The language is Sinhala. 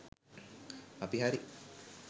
අපි හරි